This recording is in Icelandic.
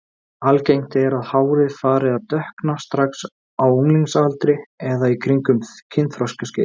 Algengt er að hárið fari að dökkna strax á unglingsaldri eða í kringum kynþroskaskeiðið.